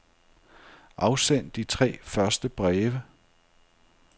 Afsend de tre første breve.